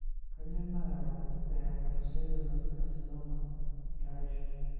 Kainyio nayau eHepatocellular carcinoma, keraisho?